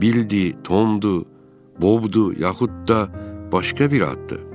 Bildi, Tomdu, Bobdu, yaxud da başqa bir addır?